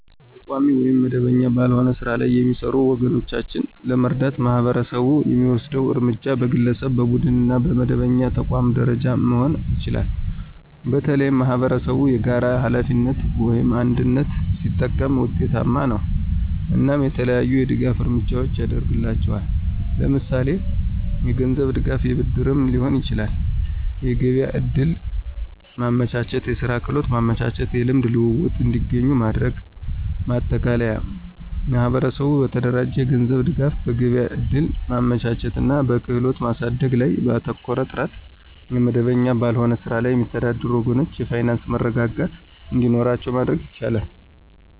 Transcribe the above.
በቋሚ ወይም መደበኛ ባልሆነ ሥራ ላይ የሚሰሩ ወገኖቻችንን ለመርዳት ማህበረሰቡ የሚወስደው እርምጃ በግለሰብ፣ በቡድንና በመደበኛ ተቋማት ደረጃ መሆን ይችላል። በተለይም ማኅበረሰብ የጋራ ሀላፊነትን (አንድነት) ሲጠቀም ውጤታማ ነው። እናም የተለያዩ የድጋፍ እርምጃዎችን ያድርግላቸዋል ለምሳሌ የገንዝብ ድጋፍ የብድርም ሊሆን ይችላል። የገቢያ ዕድል ማመቻቸት፣ የስራ ክህሎት ማመቻቸት። የልምድ ልውውጥ እንዲገኙ ማድረግ። ማጠቃለያ ማህበረሰቡ በተደራጀ የገንዘብ ድጋፍ፣ በገበያ እድል ማመቻቸት እና በክህሎት ማሳደግ ላይ ባተኮረ ጥረት የመደበኛ ባልሆነ ስራ ላይ የሚተዳደሩ ወገኖቻችን የፋይናንስ መረጋጋት እንዲኖራቸው ማድረግ ይቻላል።